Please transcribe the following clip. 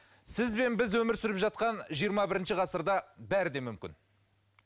сіз бен біз өмір сүріп жатқан жиырма бірінші ғасырда бәрі де мүмкін